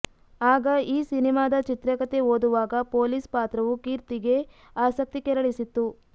ಆಗ ಈ ಸಿನಿಮಾದ ಚಿತ್ರಕತೆ ಓದುವಾಗ ಪೊಲೀಸ್ ಪಾತ್ರವು ಕೀರ್ತಿಗೆ ಆಸಕ್ತಿ ಕೆರಳಿಸಿತ್ತು